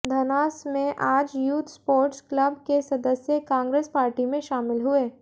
धनास में आज youth sports club के सदस्य कांग्रेस पार्टी में शामिल हुए